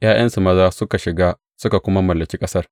’Ya’yansu maza suka shiga suka kuma mallaki ƙasar.